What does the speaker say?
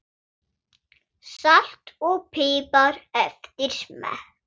Salt og pipar eftir smekk.